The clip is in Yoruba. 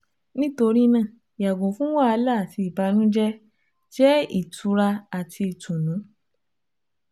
Nitori naa yago fun wahala ati ibanujẹ, jẹ itura ati itunu